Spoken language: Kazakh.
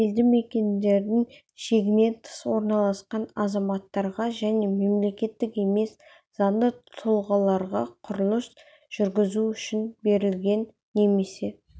елді мекендердің шегінен тыс орналасқан азаматтарға және мемлекеттік емес заңды тұлғаларға құрылыс жүргізу үшін берілген немесе